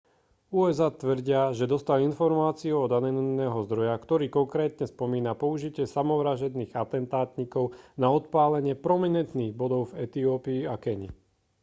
usa tvrdia že dostali informácie od anonymného zdroja ktorý konkrétne spomína použitie samovražedných atentátnikov na odpálenie prominentných bodov v etiópii a keni